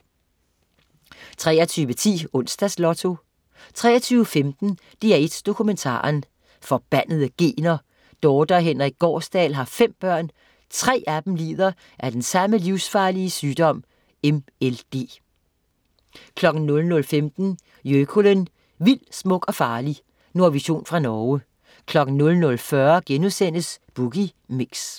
23.10 Onsdags Lotto 23.15 DR1 Dokumentaren. Forbandede gener. Dorthe og Henrik Gaarsdal har fem børn. Tre af dem lider af samme livsfarlige sygdom, MLD 00.15 Jøkulen, vild, smuk og farlig. Nordvision fra Norge 00.40 Boogie Mix*